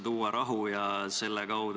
Otsus on vastu võetud.